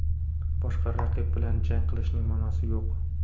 Boshqa raqib bilan jang qilishning ma’nosi yo‘q.